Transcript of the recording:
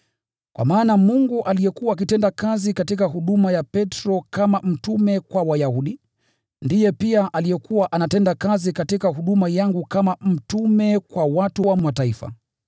Kwa maana, Mungu aliyekuwa akitenda kazi katika huduma ya Petro kama mtume kwa Wayahudi, ndiye pia aliyekuwa anatenda kazi katika huduma yangu kama mtume kwa watu wa Mataifa.